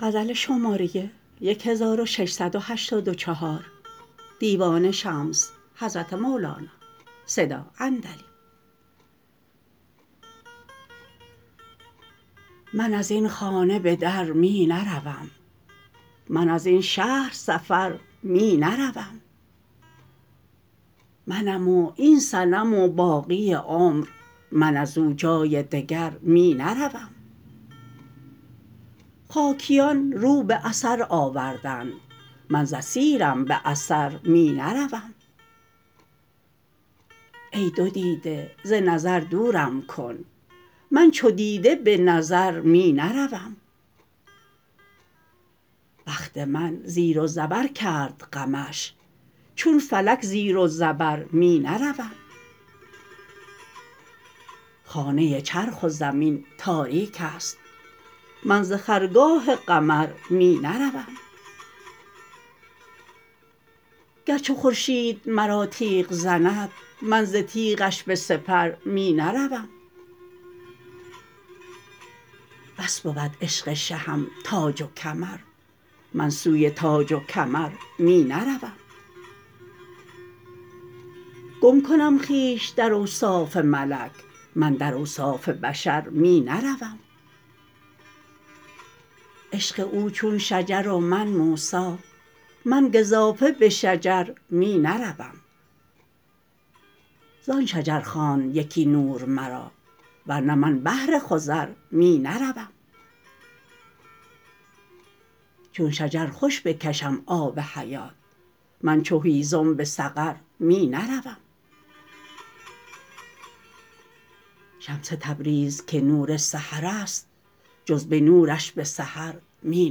من از این خانه به در می نروم من از این شهر سفر می نروم منم و این صنم و باقی عمر من از او جای دگر می نروم خاکیان رو به اثر آوردند من ز اثیرم به اثر می نروم ای دو دیده ز نظر دورم کن من چو دیده به نظر می نروم بخت من زیر و زبر کرد غمش چون فلک زیر و زبر می نروم خانه چرخ و زمین تاریک است من ز خرگاه قمر می نروم گر چو خورشید مرا تیغ زند من ز تیغش به سپر می نروم بس بود عشق شهم تاج و کمر من سوی تاج و کمر می نروم گم کنم خویش در اوصاف ملک من در اوصاف بشر می نروم عشق او چون شجر و من موسی من گزافه به شجر می نروم زان شجر خواند یکی نور مرا ور نه من بهر خضر می نروم چون شجر خوش بکشم آب حیات من چو هیزم به سفر می نروم شمس تبریز که نور سحر است جز به نورش به سحر می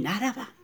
نروم